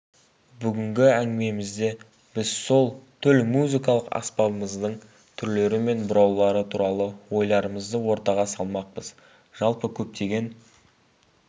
бүгінгі әңгімемізде біз сол төл музыкалық аспабымыздың түрлері мен бұраулары туралы ойларымызды ортаға салмақпыз жалпы көптеген